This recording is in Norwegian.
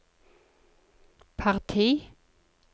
parti